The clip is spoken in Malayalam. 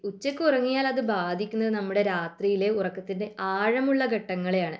ഉച്ചക്ക് ഉറങ്ങിയാൽ അത് നമ്മുടെ രാത്രിയിലെ ഉറക്കത്തിന്റെ ആഴമുള്ള ഘട്ടങ്ങളെയാണ്